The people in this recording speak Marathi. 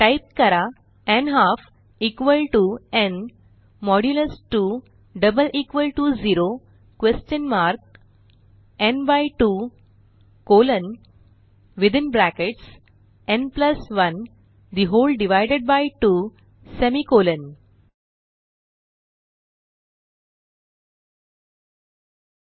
टाईप करा n half equal to n modulus 2 double equal to 0 question mark n by 2 colon within brackets n 1 the whole divided by 2 semicolon n 2 0